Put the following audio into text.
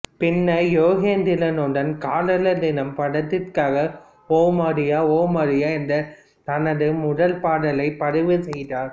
பின்னர் யுகேந்திரனுடன் காதலர் தினம் படத்திற்காக ஓ மரியா ஓ மரியா என்ற தனது முதல் பாடலை பதிவு செய்தார்